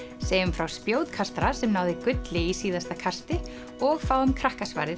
segjum frá spjótkastara sem náði gulli í síðasta kasti og fáum